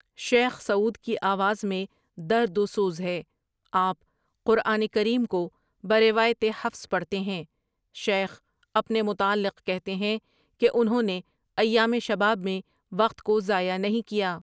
شیخ Saud کی آواز میں درد وسوز ہے، آپ قرآن کریم کو بروایت حفص پڑھتے ہیں شیخ اپنے متعلق کہتے ہیں کہ انھوں نے ایام شباب میں وقت کو ضآئع نہیں کیا ۔